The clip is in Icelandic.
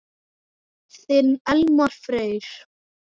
Þinn Elmar Freyr.